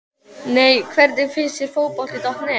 Nei Hvernig finnst þér Fótbolti.net?